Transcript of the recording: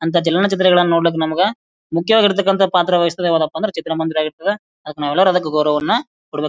ಅಂತ ಚಲನ ಚಿತ್ರಗಳನ್ನ ನೋಡ್ಲಿಕ್ ನಮಗ ಮುಖ್ಯವಾಗಿರತಕ್ಕಾನಂಥ ಪಾತ್ರ ವಹಿಸೋದು ಯಾವದಪ್ಪ ಅಂದ್ರ ಚಿತ್ರ ಮಂದಿರವನ್ನು ಆಗಿರ್ತದ. ಅದುಕ್ಕ ನಾವು ಯಲ್ಲಾರ ಗೌರವವನ್ನ ಕೊಡಬೇಕ.